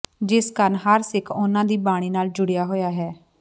ਜਿਸ ਕਾਰਨ ਹਰ ਸਿੱਖ ਉਨ੍ਹਾਂ ਦੀ ਬਾਣੀ ਨਾਲ ਜੁੜਿਆ ਹੋਇਆ ਹੈ